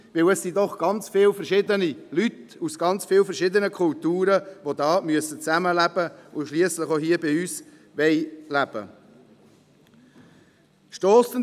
Denn es sind doch sehr viele verschiedene Leute aus sehr vielen verschiedenen Kulturen, die da zusammenleben müssen, und die schliesslich auch hier bei uns leben wollen.